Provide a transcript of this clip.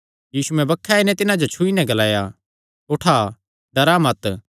यीशुयैं बक्खे आई नैं तिन्हां जो छुई नैं ग्लाया उठा डरा मत